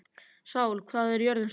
Sál, hvað er jörðin stór?